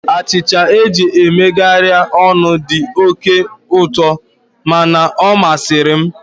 Achịcha eji megharịa ọnụ dị oke ụtọ mana ọ masịrị m.